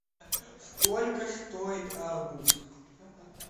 сколько стоит арбуз